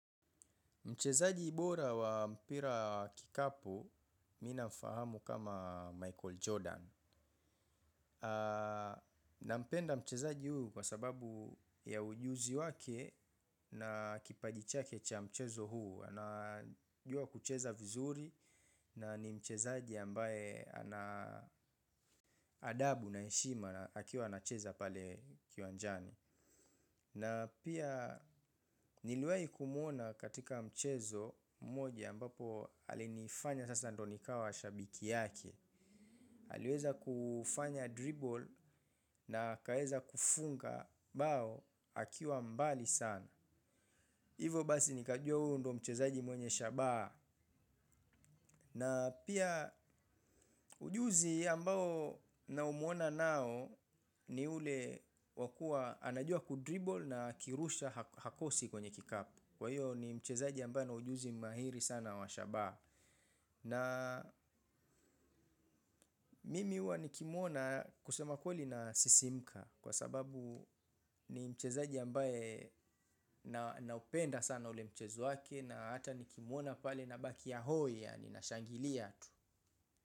Mchezaji bora wa mpira kikapu, ninamfahamu kama Michael Jordan. Napenda mchezaji huyu kwa sababu ya ujuzi wake na kipaji chake cha mchezo huu. Anajua kucheza vizuri na ni mchezaji ambaye ana adabu na heshima akiwa anacheza pale kiwanjani. Na pia niliwahi kumuona katika mchezo mmoja ambapo alinifanya sasa ndio nikawa shabiki yake. Aliweza kufanya 'dribble' na akaweza kufunga bao akiwa mbali sana. Hivyo basi nikajua huyu ndio mchezaji mwenye shabaha. Na pia ujuzi ambao namuona nao ni ule wakuwa anajua 'kudribble' na akirusha hakosi kwenye kikapu. Kwa hiyo ni mchezaji ambaye ana ujuzi mahiri sana wa shabaha. Naa mimi uwa nikimwona kusema kweli nasisimka. Kwa sababu ni mchezaji ambaye naupenda sana ule mchezo wake na hata nikimuona pale nabakia hoi, yaani nashangilia tu.